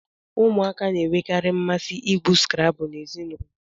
Ụmụaka na-enwekarị mmasị igwu Scrabble na ezinụlọ